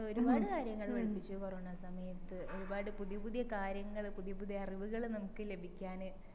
ഒരുപാട് കാര്യങ്ങള് പഠിപ്പിച്ചു കൊറോണ സമയത്തു് പരുപാടി പുതിയ പുതിയ കാര്യങ്ങള് പുതിയ പുതിയ അറിവികള് നമ്മക്ക് ലഭിക്കാന്